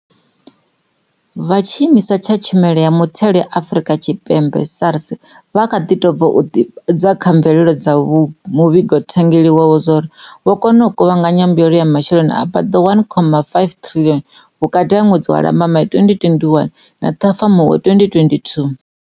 Vha Tshiimiswa tsha Tshumelo ya Muthelo ya Afrika Tshipembe SARS vha kha ḓi tou bva u ḓivhadza kha mvelelo dza muvhigothangeli wavho zwauri vho kona u kuvhanganya mbuelo ya masheleni a paḓaho R1.5 triḽioni vhukati ha ṅwedzi wa Lambamai 2021 na Ṱhafamuhwe 2022.